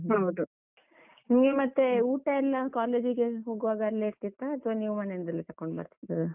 ಹೌದು, ನೀವು ಮತ್ತೆ ಊಟ ಎಲ್ಲ college ಗೆ ಹೋಗುವಾಗ ಅಲ್ಲೇ ಇರ್ತಿತ್ತ, ಅಥ್ವ ನೀವು ಮನೆಯಿಂದಲೇ ತಗೊಂಡ್ ಬರ್ತಿದದ್ದ?